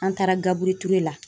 An taara gabure Ture la.